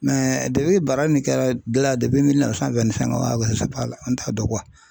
Mɛ nin kɛra dilan la wa an t'a dɔn